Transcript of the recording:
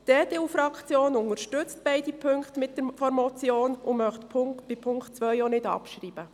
Die EDU-Fraktion unterstützt beide Punkte der Motion und möchte den Punkt 2 auch nicht abschreiben.